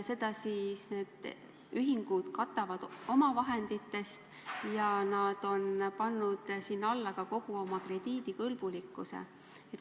Seda siis need ühingud katavad omavahenditest ja nad on pannud sinna alla ka kogu oma krediidivõimekuse.